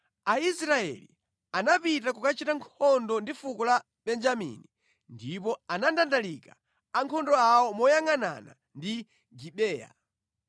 Aisraeli anapita kukachita nkhondo ndi fuko la Benjamini ndipo anandandalika ankhondo awo moyangʼanana ndi Gibeya.